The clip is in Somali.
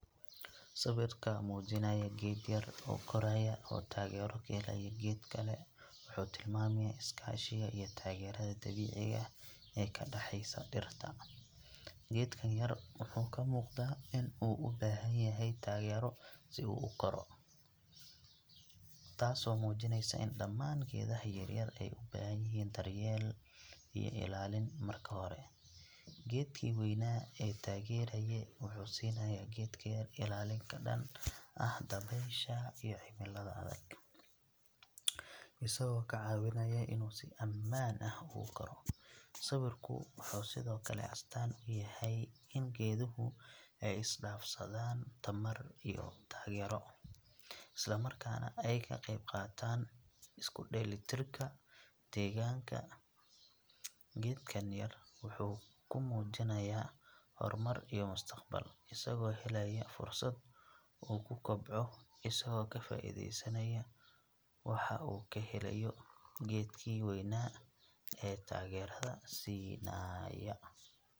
Sawirka muujinaya geed yar oo koraya oo taageero ka helaya geed kale wuxuu tilmaamayaa iskaashiga iyo taageerada dabiiciga ah ee ka dhexaysa dhirta. Geedkan yar wuxuu ka muuqdaa in uu u baahan yahay taageero si uu u koro, taasoo muujinaysa in dhammaan geedaha yaryar ay u baahan yihiin daryeel iyo ilaalin marka hore. Geedkii weynaa ee taageeraya wuxuu siinayaa geedka yar ilaalin ka dhan ah dabaysha iyo cimilada adag, isagoo ka caawinaya inuu si ammaan ah ugu koro. Sawirku wuxuu sidoo kale astaan u yahay in geeduhu ay isdhaafsadaan tamar iyo taageero, isla markaana ay ka qayb qaataan isku dheelitirka deegaanka. Geedkan yar wuxuu ku muujinayaa horumar iyo mustaqbal, isagoo helaya fursad uu ku kobco isagoo ka faa'iidaysanaya waxa uu ka helayo geedkii weynaa ee taageerada siinaya.